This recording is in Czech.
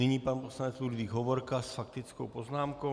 Nyní pan poslanec Ludvík Hovorka s faktickou poznámkou.